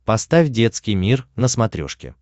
поставь детский мир на смотрешке